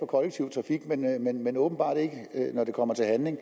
kollektive trafik men åbenbart ikke når det kommer til handling